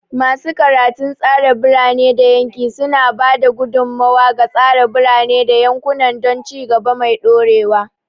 Masu karatun tsara birane da yanki suna ba da gudummawa ga tsara birane da yankuna don ci gaba mai dorewa.